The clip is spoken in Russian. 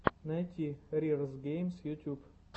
найти рирз геймс ютуб